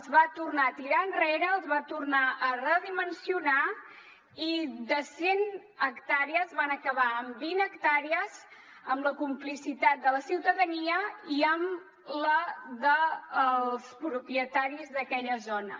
els va tornar a tirar enrere els va tornar a redimensionar i de cent hectàrees van acabar amb vint hectàrees amb la complicitat de la ciutadania i amb la dels propietaris d’aquella zona